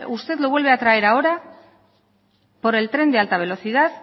usted lo vuelve a traer ahora por el tren de alta velocidad